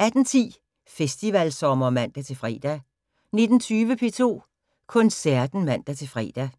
18:10: Festivalsommer (man-fre) 19:20: P2 Koncerten (man-fre) 00:05: